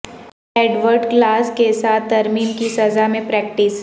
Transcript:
Edward clause کے ساتھ ترمیم کی سزا میں پریکٹس